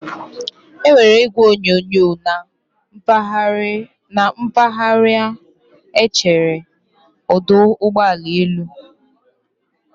E nwere igwe onyonyo na mpaghara echere ọdụ ụgbọ elu